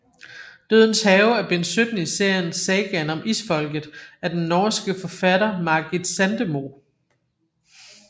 Dødens Have er bind 17 i serien Sagaen om Isfolket af den norske forfatter Margit Sandemo